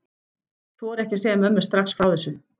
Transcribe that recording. Þori ekki að segja mömmu strax frá þessu.